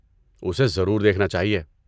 اسے ضرور دیکھنا چاہئے۔